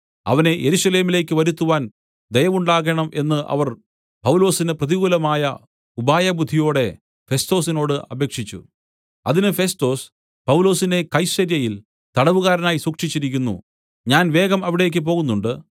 അവനെ യെരുശലേമിലേക്കു വരുത്തുവാൻ ദയവുണ്ടാകേണം എന്ന് അവർ പൗലോസിന് പ്രതികൂലമായി ഉപായബുദ്ധിയോടെ ഫെസ്തോസിനോട് അപേക്ഷിച്ചു അതിന് ഫെസ്തൊസ് പൗലൊസിനെ കൈസര്യയിൽ തടവുകാരനായി സൂക്ഷിച്ചിരിക്കുന്നു ഞാൻ വേഗം അവിടേക്ക് പോകുന്നുണ്ട്